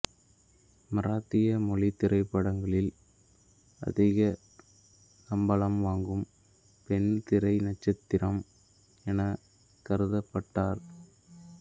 மராத்திய மொழித் திரைப்படங்களில் அதிக சம்பளம் வாங்கும் பெண் திரை நட்சத்திரம் எனக் கருதப்பட்டார்